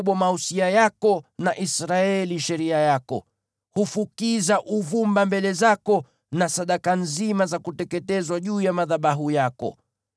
Humfundisha Yakobo mausia yako na Israeli sheria yako. Hufukiza uvumba mbele zako na sadaka nzima za kuteketezwa juu ya madhabahu yako.